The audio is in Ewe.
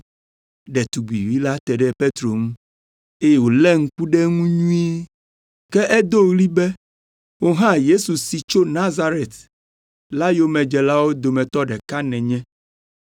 Ɖetugbivi la te ɖe Petro ŋu, eye wòlé ŋku ɖe eŋu nyuie. Ke edo ɣli be, “Wò hã Yesu si tso Nazaret la yomedzelawo dometɔ ɖeka nènye.”